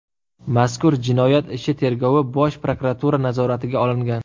Mazkur jinoyat ishi tergovi Bosh prokuratura nazoratiga olingan.